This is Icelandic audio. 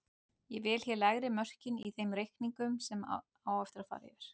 Ég vel hér lægri mörkin í þeim reikningum sem á eftir fara.